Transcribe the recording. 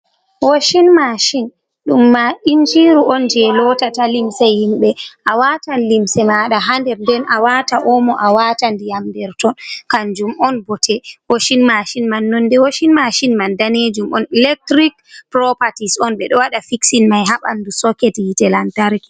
Washin mashin ɗum ma injiru on jei lotata limse himɓe a watan limse maɗa ha nder den a wata omo, a watan ndiyam nder ton kanjum on bote washin mashin man. Nonde washin mashin man danejum on electric properties on ɓe ɗo wada fiksin mai ha bandu soket hiite lantarki.